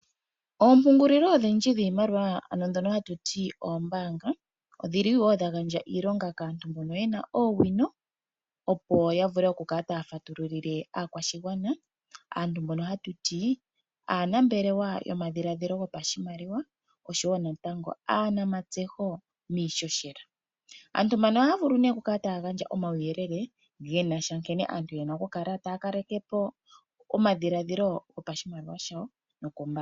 Oompungulilo odhindji dhiimaliwa ndhoka hatu ti oombaanga odha gandja iilonga kaantu mbono ye na oowino, opo ya vule ya kale taya fatululile aakwashigwana. Aantu mbono hatu ti aanambelewa yomadhiladhilo gopahimaliwa naatseyinawa yiihohela. Aantu mbano ohaya vulu nee okukala taya gandja omauyelele ge na sha nkene aantu ye na okukla taya kaleke po omadhiladhilo gopashimaliwa shawo nokoombaanga.